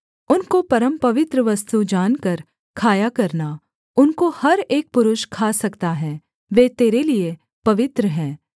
उनको परमपवित्र वस्तु जानकर खाया करना उनको हर एक पुरुष खा सकता है वे तेरे लिये पवित्र हैं